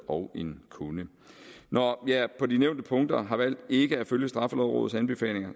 og en kunde når jeg på de nævnte punkter har valgt ikke at følge straffelovrådets anbefalinger